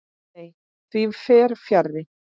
Nei, því fer fjarri.